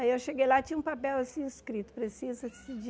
Aí eu cheguei lá, tinha um papel assim escrito, precisa-se de...